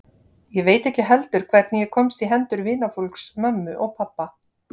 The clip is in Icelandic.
Ég veit ekki heldur hvernig ég komst í hendur vinafólks mömmu og pabba.